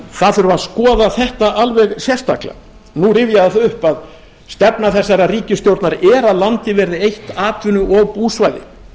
þurfi að skoða þetta alveg sérstaklega nú rifjast það upp að stefna þessarar ríkisstjórnar er að landið verði eitt atvinnu og búsvæði